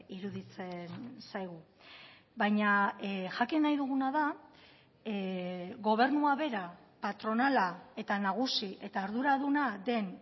iruditzen zaigu baina jakin nahi duguna da gobernua bera patronala eta nagusi eta arduraduna den